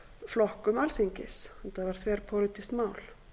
flokkum alþingis þetta var þverpólitískt mál